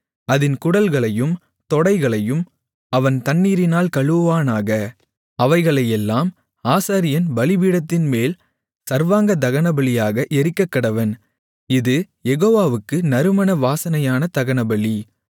அதின் குடல்களையும் தொடைகளையும் அவன் தண்ணீரினால் கழுவுவானாக அவைகளையெல்லாம் ஆசாரியன் பலிபீடத்தின்மேல் சர்வாங்க தகனபலியாக எரிக்கக்கடவன் இது யெகோவாவுக்கு நறுமண வாசனையான தகனபலி